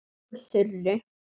Upp úr þurru.